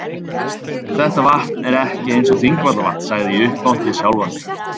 Þetta vatn er ekki eins og Þingvallavatn sagði ég upphátt við sjálfan mig.